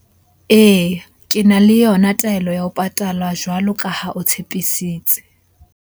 Eya, ke na le yona taelo ya ho patala jwalo ka ha o tshepisitse.